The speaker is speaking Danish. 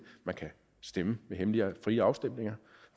man kan stemme ved hemmelige og frie afstemninger